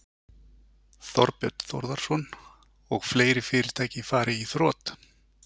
Þorbjörn Þórðarson: Og fleiri fyrirtæki fari í þrot?